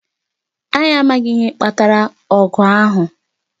Anyị amaghị ihe kpatara ogu ahu